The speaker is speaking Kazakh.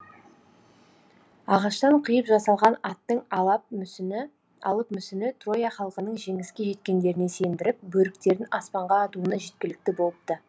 ағаштан қиып жасалған аттың алып мүсіні троя халқының жеңіске жеткендеріне сендіріп бөріктерін аспанға атуына жеткілікті болыпты